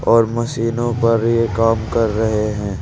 और मशीनों पर ये काम कर रहे हैं।